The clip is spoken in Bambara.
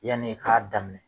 Yan'i k'a daminɛ